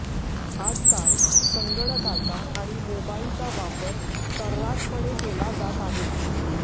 आजकाल संगणकाचा आणि मोबाईलचा वापर सर्रासपणे केला जात आहे